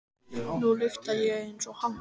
Nú lyktaði ég eins og hann.